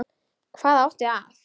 Hvað átti að